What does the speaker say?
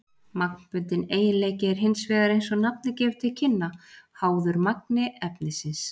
Magnbundinn eiginleiki er hins vegar, eins og nafnið gefur til kynna, háður magni efnisins.